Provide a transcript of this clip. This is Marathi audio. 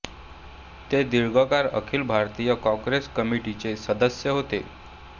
ते दीर्घकाळ अखिल भारतीय काँग्रेस कमिटीचे सदस्य होते